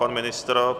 Pan ministr?